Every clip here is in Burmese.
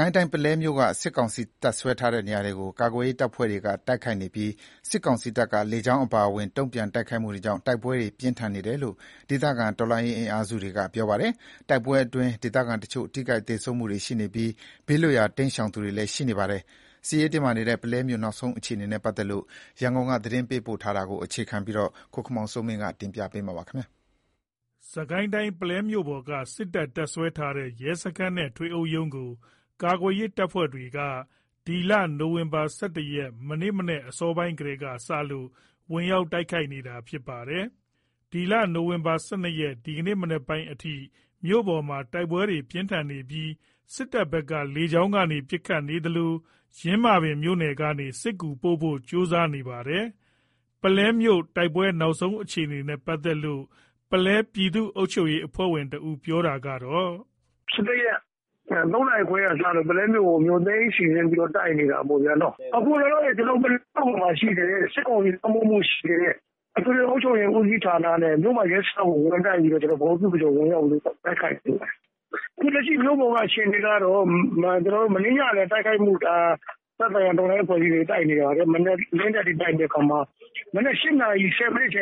ကိုင်းတိုင်း ပုလဲမြို့က စစ်ကောင်စီ တပ်စွဲထားတဲ့နေရာတွေကို ကာကွယ်ရေးတပ်ဖွဲ့တွေက တိုက်ခိုက်နေပြီး စစ်ကောင်စီတပ်က လေကြောင်းအပါအဝင် တုံ့ပြန်တိုက်ခိုက်မှုတွေကြောင့် တိုက်ပွဲတွေ ပြင်းထန်နေတယ်လို့ ဒေသခံတော်လှန်ရေးအင်အားစုတွေက ပြောပါတယ်။ တိုက်ပွဲအတွင်း ဒေသခံတချို့ ထိခိုက်သေဆုံးမှုတွေ ရှိနေသလို ဘေးလွတ်ရာ တိမ်းရှောင်သူတွေလည်း ရှိနေပါတယ်။ ရန်ကုန်ကသတင်းပေးပို့ထားတဲ့ စစ်ရေးတင်းမာနေတဲ့ ပုလဲမြို့နောက်ဆုံးအခြေအနေ တွေကို အခြေခံပြီး ကိုခင်မောင်စိုးမင်း တင်ပြထားပါတယ်။ စစ်ကိုင်းတိုင်း ပုလဲမြို့ပေါ်က စစ်တပ် တပ်စွဲထားတဲ့ ရဲစခန်းနဲ့ထွေအုပ်ရုံးကို ကာကွယ်ရေးတပ်ဖွဲ့တွေက နိုဝင်ဘာ ၁၁ ရက် မနက်အစောပိုင်းကစလို့ ဝင်ရောက်တိုက်ခိုက်နေပါတယ်။ နိုဝင်ဘာ ၁၂ ရက် ဒီကနေ့ မနက်ပိုင်းအထိ မြို့ပေါ်မှာတိုက်ပွဲပြင်းထန်နေပြီး စစ်တပ်ဘက်က လေကြောင်းကနေ ပစ်ခတ်နေသလို ယင်းမာပင်မြို့နယ်ကနေ စစ်ကူပို့ဖို့ကြိုးစားနေတာပါ။ ပုလဲမြို့ တိုက်ပွဲနောက်ဆုံးအခြေအနေနဲ့ ပတ်သက်လို့ ပုလဲပြည်သူ့အုပ်ချုပ်ရေးအဖွဲ့ဝင်တဦးက အခုလို ပြောပါတယ်။ "၁၁ ရက် ၃ နာရီခွဲကစလို့ ပုလဲမြို့ကို မြို့သိမ်းစီစဉ်ပြီးတော့ တိုက်နေတာပေါ့။ အခုလောလောဆယ် ပုလဲမြို့ပေါ်မှာရှိတဲ့စစ်ကောင်စီလွှမ်းမိုးမှုရှိတဲ့ အထွေထွေ အုပ်ချုပ်ဦးစီးဌာနနဲ့ မြို့မရဲစခန်းကို ဗဟိုပြုပြီး ဝင်တိုက်နေတာ။ အခုလက်ရှိမြို့ပေါ်က အခြေအနေကတော့ မနေ့ညကလည်း သက်ဆိုင်ရာ တော်လှန်ရေးတပ်ဖွဲ့တွေ တိုက်နေတာ မနက်လင်းတဲ့အထိတိုက်နေတာ။ မနက် ၈ နာရီ ၁၀ မိနစ်က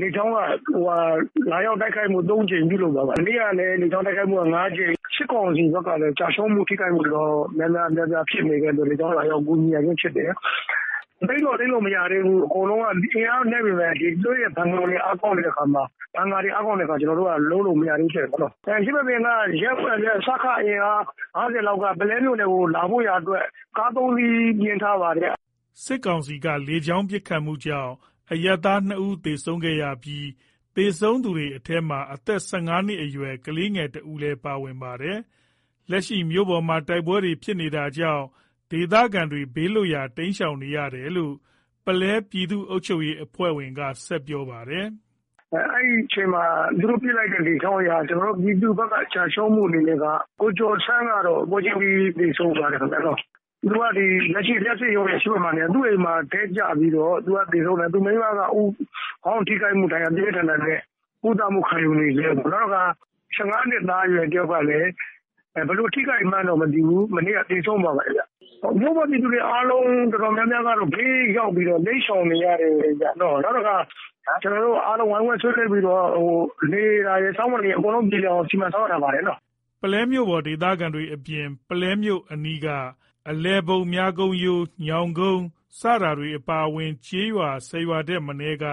လေကြောင်းက တိုက်ခိုက်မှု ၃ ကြိမ်လုပ်သွားတယ်။ မနေ့ကလည်းလေကြောင်းတိုက်ခိုက်မှု ၅ ကြိမ်။ စစ်ကောင်စီဘက်က ထိခိုက်ကျဆုံးမှုရှိတော့ လေကြောင်း လာရောက်ကူညီရချင်းဖြစ်တယ်။ သိမ်းတော့သိမ်းမရသေးဘူး။ အင်အားနည်းပေမယ့် သူတို့ရဲ့ ဘန်ကာတွေ အားကောင်းတဲ့အခါမှာ လုပ်လို့မရသေးဘူးဖြစ်နေတာပေါ့။ ယင်းမာပင်က ရဲနဲ့စခအင်အား ၅၀ လောက်က ပုလဲမြို့ကို လာဖို့ရာ ကား ၃ စီး ပြင်ထားတယ်။" စစ်တပ်ရဲ့ လေကြောင်း ပစ်ခတ်မှုကြောင့် အရပ်သား ၂ ဦး သေဆုံးခဲ့ရပြီး သေဆုံးသူတွေထဲ အသက် ၁၅ နှစ်အရွယ်ကလေးငယ်တဦးလည်း ပါဝင်ပါတယ်။ လက်ရှိ မြို့ပေါ်မှာ တိုက်ပွဲတွေဖြစ်နေတာကြောင့် ဒေသခံတွေ ဘေးလွတ်ရာတိမ်းရှောင်နေရတယ်လို့ ပုလဲပြည်သူ့အုပ်ချုပ်ရေးအဖွဲ့ဝင်က ဆက်ပြောပါတယ်။ "အဲ့အချိန် လေကြောင်းပစ်ခတ်မှုကြောင့် ကျနော်တို့ ပြည်သူဘက်ကကျဆုံးမှုအနေနဲ့က ကိုကျော်ဆန်း ကတော့ပွဲချင်းပြီးသေဆုံးသွားတယ်ခင်ဗျ။ သူတို့က လက်ရှိ လျှပ်စစ်ရုံးရဲ့အရှေ့ဘက်မှာနေတာ သူ့အိမ်မှာ တည့်ကျပြီးတော့ သူကသေဆုံးတယ်။ သူ့မိန်းမက ခေါင်းထိခိုက်မှုဒဏ်ရာ ပြင်းပြင်းထန်ထန် နဲ့ ကုသမှုခံယူနေဆဲပေါ့။ နောက်ခါ ၁၅ နှစ်အရွယ် ကလေးတယောက်ကတော့ ဘယ်လိုထိခိုက်တယ် မသိဘူး။ မနေ့က သေဆုံးသွားတယ်။ မြို့ပေါ်ပြည်သူတော်တော်များများ အားလုံးကတော့ ဘေးရောက်ပြီး တိမ်းရှောင်နေရတယ်။ ကျနော်တို့ အားလုံး ဝိုင်းဝန်းဆွေးနွေးပြီး နေတာတွေ စားတာတွေ အားလုံး အကုန်စီစဉ်ထားပါတယ်။" ပုလဲမြို့ပေါ် ဒေသခံတွေအပြင် ပုလဲမြို့အနီးက အလယ်ဘုံ၊ မြကုန်း ရိုး ၊ညောင်ကုန်း စတဲ့ ကျေးရွာ ၁၀ ရွာထက်မနည်းက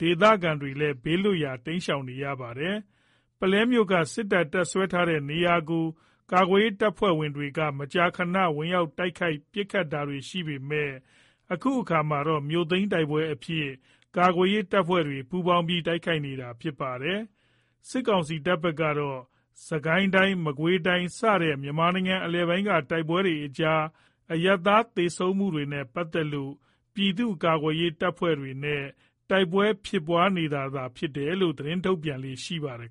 ဒေသခံတွေလည်း ဘေးလွတ်ရာ တိမ်းရှောင်နေရပါတယ်။ ပုလဲမြို့က စစ်တပ် တပ်စွဲထားတဲ့နေရာကို ကာကွယ်ရေးတပ်ဖွဲ့တွေက မကြာခဏ ဝင်ရောက်တိုက်ခိုက် ပစ်ခတ်တာတွေ ရှိပေမယ့် အခုခါမှာတော့ မြို့သိမ်းတိုက်ပွဲအဖြစ်ကာကွယ်ရေးတပ်ဖွဲ့တွေ ပူးပေါင်းပြီး တိုက်ခိုက်နေတာလည်းဖြစ်ပါတယ်။ စစ်ကောင်စီတပ်ဘက်ကတော့ စစ်ကိုင်းတိုင်း၊ မကွေးတိုင်းစတဲ့မြန်မာနိုင်ငံအလယ်ပိုင်းက တိုက်ပွဲတွေကြား အရပ်သားသေဆုံးမှုတွေနဲ့ပတ်သက်လို့ ပြည်သူ့ကာကွယ်ရေးတပ်တွေနဲ့ တိုက်ပွဲဖြစ်ပွားနေတာသာဖြစ်တယ်လို့ သတင်းထုတ်ပြန်လေ့ရှိပါတယ်